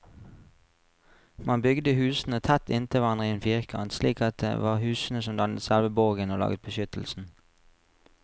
Man bygde husene tett inntil hverandre i en firkant, slik at det var husene som dannet selve borgen og laget beskyttelsen.